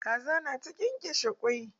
Kaza na ta ƙenƙeshe kwai